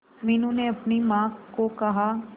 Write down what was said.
मीनू ने अपनी मां को कहा